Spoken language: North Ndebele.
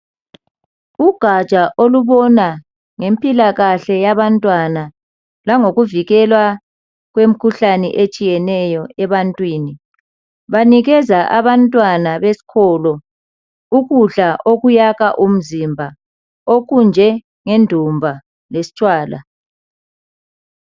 Ugatsha olubona ngezempilakahle yabantwana langikuvikelwa kwemikhuhlane etshiyeneyo ebantwini banikeza abantwana besikolo ukudla okuyakha umzimba okunjengendumba lesitshwala.